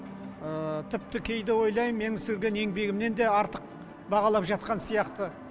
тіпті кейде ойлаймын мен сіңірген еңбегімді артық бағалап жатқан сияқты